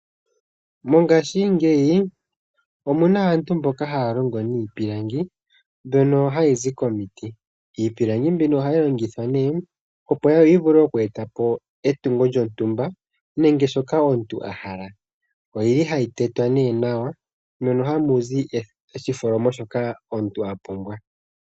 Mongashingeyi omuna aantu mboka haya longo niipilangi mbyono hayi zi komiti iipilangi mbino ohayi longithwa ne opo yi vule oku etapo etungo lyontumba nenge shoka omuntu a hala. Oyili hayi tetwa nawa mono hamuzi oshitholomo shoka omuntu a pumbwa.